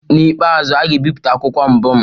N'ikpeazụ, a ga-ebipụta akwụkwọ mbụ m.